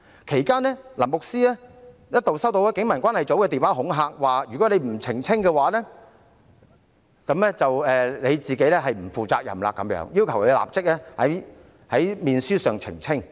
其間，牧師一度收到警民關係組的電話恐嚇，表示如果他不作出澄清，便是不負責任，要求他立即在面書上澄清。